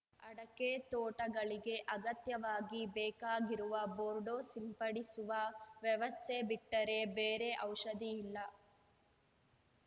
ಅಡಕೆ ತೋಟಗಳಿಗೆ ಅಗತ್ಯವಾಗಿ ಬೇಕಾಗಿರುವ ಬೋರ್ಡೋ ಸಿಂಪಡಿಸುವ ವ್ಯವಸ್ಥೆ ಬಿಟ್ಟರೆ ಬೇರೆ ಔಷಧಿ ಇಲ್ಲ